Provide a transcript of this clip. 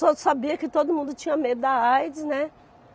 Só sabia que todo mundo tinha medo da aides, né?